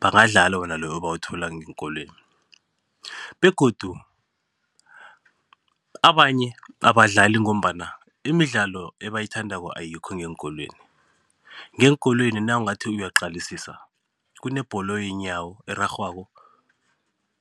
bangadlala wona loyo abawuthola ngeenkolweni begodu abanye abadlali ngombana imidlalo ebayithandako ayikho ngeenkolweni, ngeenkolweni nawungathi uyaqalisisa kunebholo yeenyawo erarhwako,